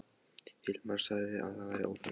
Hilmar sagði að það væri óþarfi.